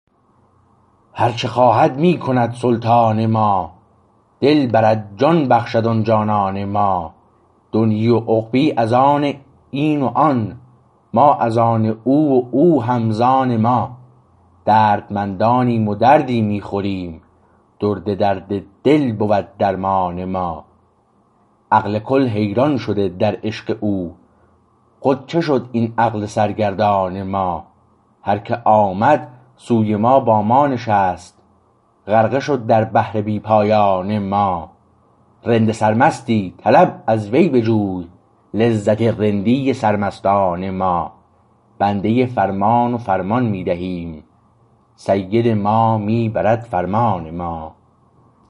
هرچه خواهد می کند سلطان ما دل برد جان بخشد آن جانان ما دنیی و عقبی از آن و این و آن ما از آن او و او هم ز آن ما دردمندانیم و دردی می خوریم درد درد دل بود درمان ما عقل کل حیران شده در عشق او خود چه شد این عقل سرگردان ما هر که آمد سوی ما با ما نشست غرقه شد در بحر بی پایان ما رند سر مستی طلب از وی بجوی لذت رندی سر مستان ما بنده فرمان و فرمان می دهیم سید ما می برد فرمان ما